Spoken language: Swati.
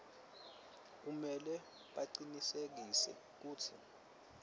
kumele bacinisekise kutsi